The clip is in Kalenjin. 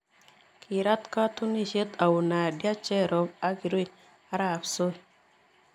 Kiiraat katunisiet au nadia cherop ak kirui arap soy